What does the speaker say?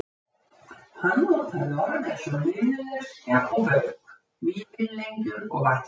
Hann notaði orð eins og liðleskja og bauk, vífilengjur og vænn.